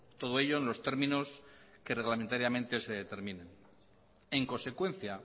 todo ello en los términos que reglamentariamente se determinen en consecuencia